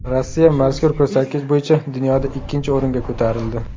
Rossiya mazkur ko‘rsatkich bo‘yicha dunyoda ikkinchi o‘ringa ko‘tarildi.